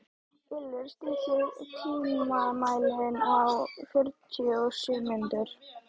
Ylur, stilltu tímamælinn á fjörutíu og sjö mínútur.